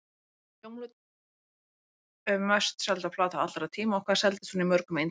Hvaða hljómplata er mest selda plata allra tíma og hvað seldist hún í mörgum eintökum?